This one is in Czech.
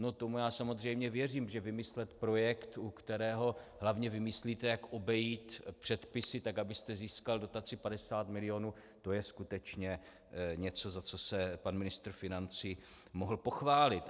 No tomu já samozřejmě věřím, že vymyslet projekt, u kterého hlavně vymyslíte, jak obejít předpisy tak, abyste získal dotaci 50 milionů, to je skutečně něco, za co se pan ministr financí mohl pochválit.